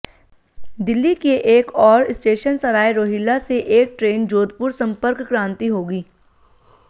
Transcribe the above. दिल्ली के एक और स्टेशन सराय रोहिल्ला से एक ट्रेन जोधपुर संपर्क क्रांति होगी